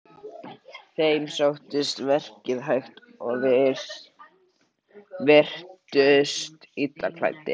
Þeim sóttist verkið hægt og virtust illa klæddir.